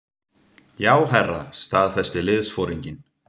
Já, herra staðfesti liðsforinginn.